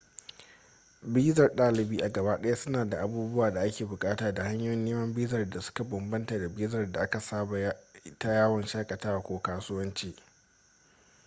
bizar ɗalibi a gaba ɗaya suna da abubuwan da a ke buƙatu da hanyoyin neman bizar da suka bambanta da bizar da aka saba ta yawon shakatawa ko asuwanci